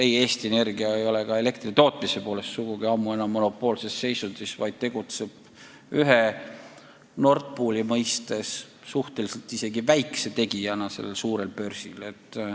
Ei, Eesti Energia ei ole ka elektri tootjana ammu enam monopoolses seisundis, vaid tegutseb Nord Pooli mõistes suhteliselt väikse tegijana sellel suurel börsil.